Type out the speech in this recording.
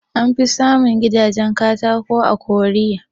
An fi samun gidajen katako a Korea